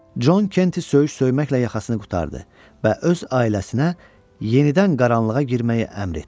Con Kenti söyüş söyməklə yaxasını qurtardı və öz ailəsinə yenidən qaranlığa girməyi əmr etdi.